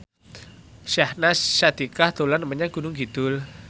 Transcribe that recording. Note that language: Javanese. Syahnaz Sadiqah dolan menyang Gunung Kidul